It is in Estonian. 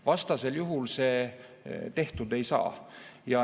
Vastasel juhul see tehtud ei saa.